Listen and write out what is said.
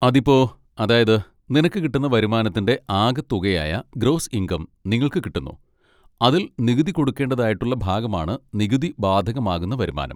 അതിപ്പോ, അതായത്, നിനക്ക് കിട്ടുന്ന വരുമാനത്തിൻ്റെ ആകെ തുകയായ ഗ്രോസ് ഇൻകം നിങ്ങൾക്ക് കിട്ടുന്നു. അതിൽ നികുതി കൊടുക്കേണ്ടതായിട്ടുള്ള ഭാഗമാണ് നികുതി ബാധകമാകുന്ന വരുമാനം.